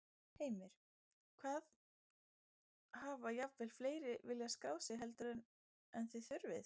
Heimir: Hvað, hafa jafnvel fleiri viljað skráð sig heldur en, en þið þurfið?